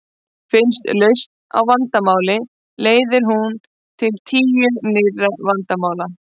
Finnist lausn á vandamáli leiðir hún til tíu nýrra vandamála.